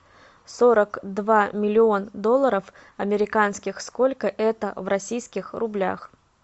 сорок два миллион долларов американских сколько это в российских рублях